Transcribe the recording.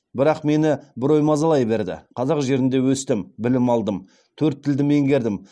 бірақ мені бір ой мазалай берді қазақ жерінде өстім білім алдым төрт тілді меңгердім